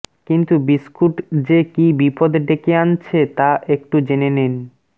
কিন্তু বিস্কুট যে কী বিপদ ডেকে আনছে তা একটু জেনে নিন